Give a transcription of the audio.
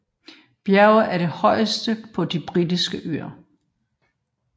Bjerget er det højeste på De Britiske Øer